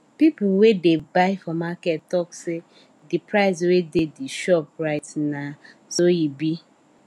people wey dey buy for market talk say de price wey de shop write na so e be